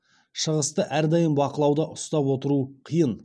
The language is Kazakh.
шығысты әрдайым бақылауда ұстап отыру қиын